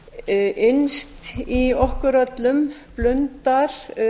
innst í okkur öllum blundar